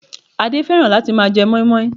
Adé fẹ́ràn láti máa je mọ́ímọ́í